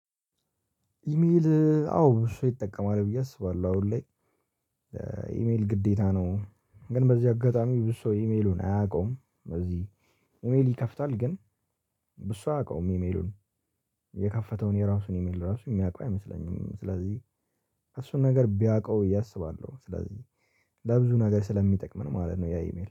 ኢሜል አዎ ብዙ ሰው ይጠቀማል ብዬ አስባለሁ አሁን ላይ። ኢሜል ግዴታ ነው። ግን በዚህ አጋጣሚ ብዙ ሰው ኢሜሉን አያውቀውም። በዚህ ኢሜል ይከፍታል ግን ብዙ አያውቀውም። ኢሜሉን የከፈተውን የራሱን ኢሜል ራሱ የሚያውቀው አይመስለኝም። ስለዚህ እሱን ነገር ቢያውቀው ብዬ አስባለሁ። ስለዚህ ለብዙ ነገር ስለሚጠቅምን ማለት ነው ያ ኢሜል